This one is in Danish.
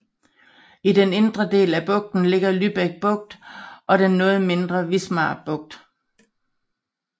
I den indre del af bugten ligger Lübeck Bugt og den noget mindre Wismar Bugt